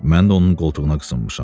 Mən də onun qoltuğuna qısınmışam.